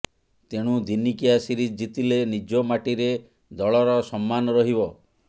ତେଣୁ ଦିନିକିଆ ସିରିଜ୍ ଜିତିଲେ ନିଜ ମାଟିରେ ଦଳର ସମ୍ମାନ ରହିବ